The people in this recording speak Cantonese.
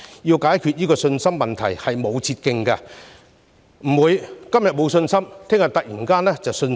要解決信心問題並無捷徑，不會今天沒有信心，明天突然重拾信心。